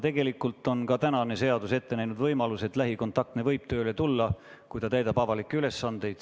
Tegelikult on ka tänane seadus ette näinud võimaluse, et lähikontaktne võib tööle tulla, kui ta täidab avalikke ülesandeid.